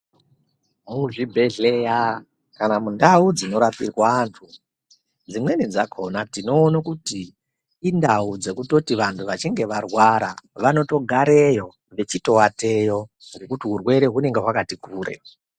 Muzvibhedhlera kana mundau dzinorapirwa antu dzimweni dzakhona tinoona kuti indawu dzekutoti vantu vachinge varwara vanotogareyo, vechitoateyo ngekuti urwere hunenge hwakati kure.